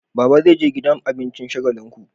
Baba zai je gidan abincin shagalinku